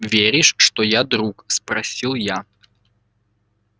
веришь что я друг спросил я